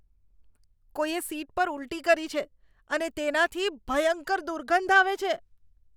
કોઈએ સીટ પર ઊલટી કરી છે અને તેનાથી ભયંકર દુર્ગંધ આવે છે.